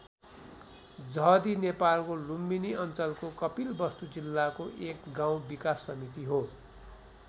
जहदी नेपालको लुम्बिनी अञ्चलको कपिलवस्तु जिल्लाको एक गाउँ विकास समिति हो।